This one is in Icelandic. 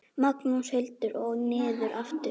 Magnús Hlynur: Og niður aftur?